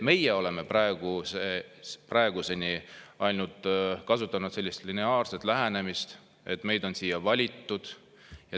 Meie oleme praeguseni kasutanud ainult sellist lineaarset lähenemist, et meid on siia valitud.